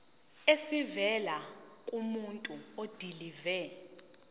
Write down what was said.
esivela kumuntu odilive